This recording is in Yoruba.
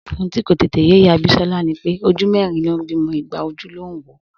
Ohun tí kò tètè yé ìyá Bísọ́lá ni pé ojú mẹ́rin ló ń bímọ igba ojú ló ń wò ó